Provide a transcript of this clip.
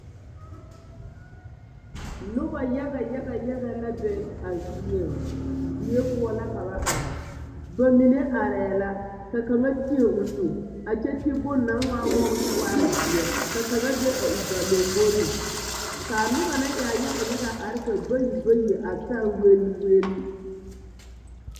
Nobɔ yaga yaga yaga la be a zieŋ die poɔ la ka ba are ba mine arɛɛ la ka kaŋa teɛ o nu a kyɛ ti bon naŋ waa wobɔ kyɛ waa zeɛ ka kaŋa be a o ba lomboreŋ kaa nobɔ na eɛɛ yaga yaga yaga are ka bayi bayi a saa welwel.